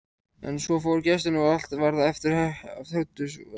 En svo fóru gestirnir og allt varð aftur hversdagslegt.